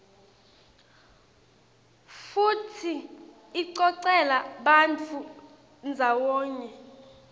futsi icocela bantfu ndzawonye